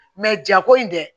jako in dɛ